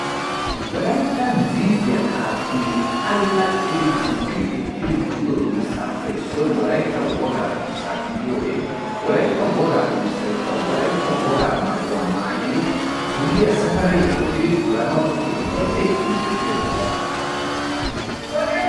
Wolayttan ziiziya qaattidi allaxxidi guppi ekkir duriyo durssappe issoy Wolaytta woga durssa gidiyoode Wolaytta Woga durssaykka Wolaytta woga maayyuwaa maayyidi dulliya safari ekkidi duranaw keehippe injjetiya durissa.